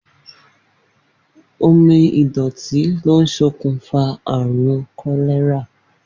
Omi ìdò̩tí ló ń s̩okùnfà àrùn kó̩lé̩rà.